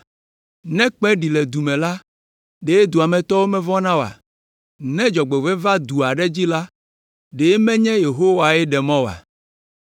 Ne kpẽ ɖi le du me la, ɖe dua me tɔwo mevɔ̃na oa? Ne dzɔgbevɔ̃e va du aɖe dzi la, ɖe menye Yehowae ɖe mɔ oa?